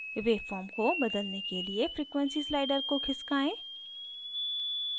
waveform को बदलने के लिए frequency slider को खिसकाएँ